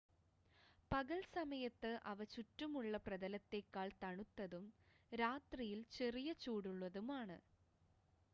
പകൽ സമയത്ത് അവ ചുറ്റുമുള്ള പ്രതലത്തേക്കാൾ തണുത്തതും രാത്രിയിൽ ചെറിയ ചൂടുള്ളതുമാണ്